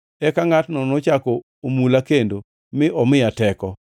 Eka ngʼatno nochako omula kendo mi omiya teko.